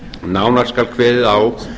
nánar skal kveðið á